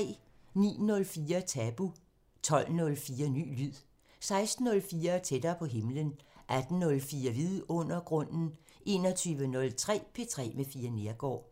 09:04: Tabu 12:04: Ny lyd 16:04: Tættere på himlen 18:04: Vidundergrunden 21:03: P3 med Fie Neergaard